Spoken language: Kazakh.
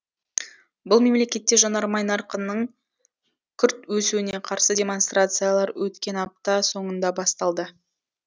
бұл мемлекетте жанармай нарқының күрт өсуіне қарсы демонстрациялар өткен апта соңында басталды